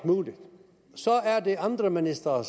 muligt så er det andre ministre